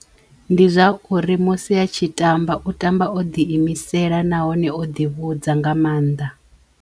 Ndi zwa uri musi a tshi tamba u tamba o ḓi imisela nahone o ḓi vhudza nga mannḓa.